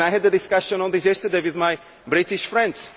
I had a discussion on this yesterday with my British friends.